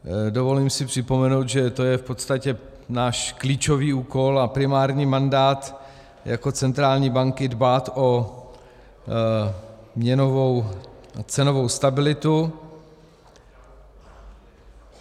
Dovolím si připomenout, že to je v podstatě náš klíčový úkol a primární mandát jako centrální banky dbát o měnovou a cenovou stabilitu.